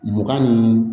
Mugan ni